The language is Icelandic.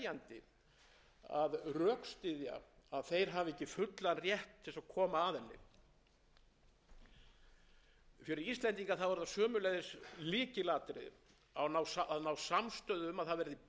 að rökstyðja að þeir hafi ekki fullan rétt til að koma að henni fyrir íslendinga er það sömuleiðis lykilatriði að ná samstöðu um að það